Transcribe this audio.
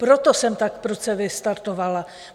Proto jsem tak prudce vystartovala.